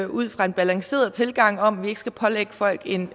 ud fra en balanceret tilgang om at vi ikke skal pålægge folk en